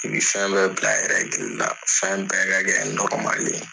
I bi fɛn bɛɛ bila la, fɛn bɛɛ ka kɛ ye.